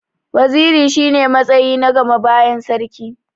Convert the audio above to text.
Waziri shi ne matsayi na gama bayan sarki.